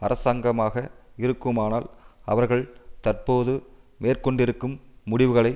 அரசாங்கமாக இருக்குமானால் அவர்கள் தற்போது மேற்கொண்டிருக்கும் முடிவுகளை